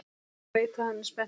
Veit að hann er spenntur.